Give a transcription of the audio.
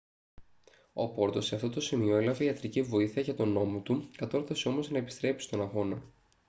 ο porto σε αυτό σημείο έλαβε ιατρική βοήθεια για τον ώμο του κατόρθωσε όμως να επιστρέψει στον αγώνα